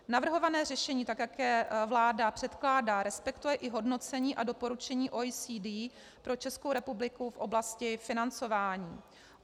Navrhované řešení, tak jak je vláda předkládá, respektuje i hodnocení a doporučení OECD pro Českou republiku v oblasti financování.